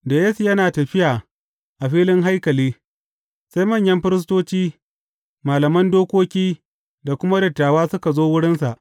Da Yesu yana tafiya a filin haikali, sai manyan firistoci, malaman dokoki da kuma dattawa suka zo wurinsa.